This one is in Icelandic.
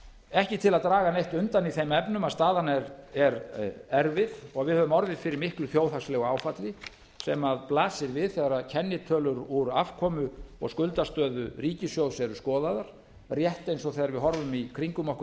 ekki til að draga neitt undan í þeim efnum að staðan er erfið og við höfum orðið fyrir miklu þjóðhagslegu áfalli sem blasir við þegar kennitölur úr afkomu og skuldastöðu ríkissjóðs eru skoðaðar rétt eins og þegar við horfum í kringum okkur